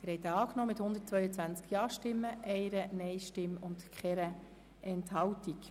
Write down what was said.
Sie haben den Kreditantrag angenommen mit 122 Ja-Stimmen gegen 1 Nein-Stimme, ohne Enthaltungen.